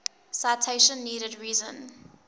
citation needed reason